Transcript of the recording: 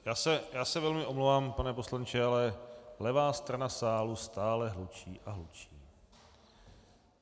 Já se velmi omlouvám, pane poslanče, ale levá strana sálu stále hlučí a hlučí.